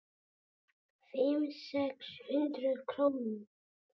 Fimm, sex hundruð krónur?